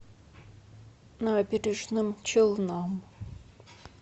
набережным челнам